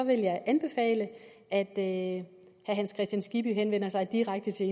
vil jeg anbefale at herre hans kristian skibby selv henvender sig direkte til